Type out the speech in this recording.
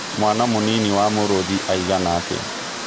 mwana mũnĩnĩ wa mũrũthĩ aĩgana atĩa